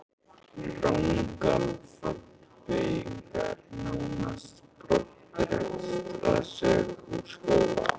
Rangar fallbeygingar nánast brottrekstrarsök úr skóla.